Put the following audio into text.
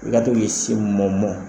I ka to k'i sin mɔ mɔ.